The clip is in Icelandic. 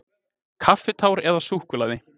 Kaffitár eða súkkulaði.